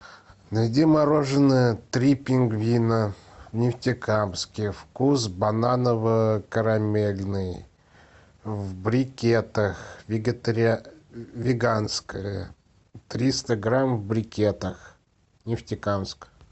найди мороженое три пингвина в нефтекамске вкус бананово карамельный в брикетах веганское триста грамм в брикетах нефтекамск